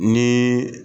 Ni